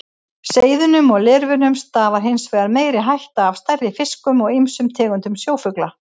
Seiðunum og lirfunum stafar hins vegar meiri hætta af stærri fiskum og ýmsum tegundum sjófugla.